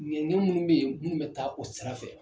i minnu bɛ yen minnu bɛ taa o sira fɛ.